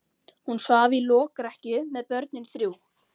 Hún svaf í lokrekkju með börnin þrjú.